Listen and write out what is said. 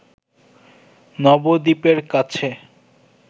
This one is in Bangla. নবদ্বীপের কাছে